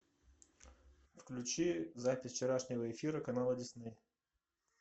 включи запись вчерашнего эфира канала дисней